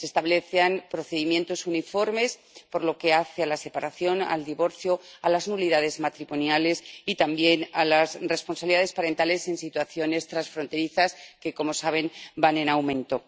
Se establecían procedimientos uniformes por lo que hace a la separación, al divorcio, a las nulidades matrimoniales y también a las responsabilidades parentales en situaciones transfronterizas —que, como saben, van en aumento—.